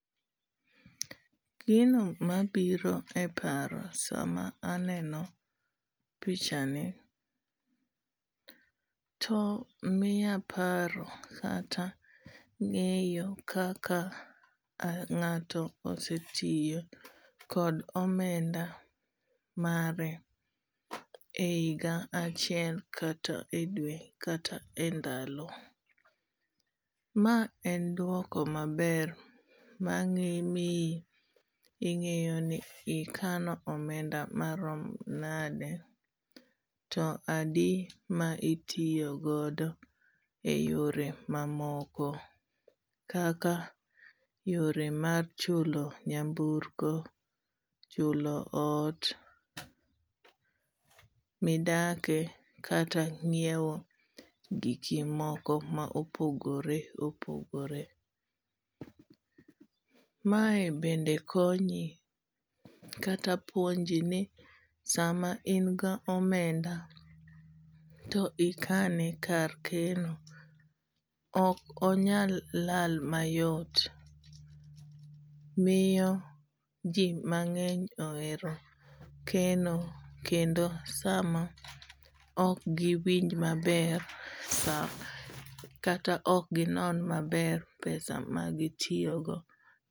Gino mabiro e paro sama aneno pichani to miya paro kata ng'eyo kaka ng'ato osetiyo kod omenda mare e higa achiel kata e dwe, kata e ndalo. Ma en dwoko maber, mang'i mi ing'eyo ni ikano omenda marom nade. To adi ma itiyo godo e yore mamoko. Kaka yore mag chulo nyamburko, chulo ot midake, kata nyiewo giki moko ma opogore opogore. Mae bende konyi, kata puonji ni sama inga omenda to ikane kar keno, ok onyal lal mayot. Miyo ji mang'eny ohero keno kendo sama ok giwinj maber, sa, kata ok ginon maber pesa ma gitiyo go.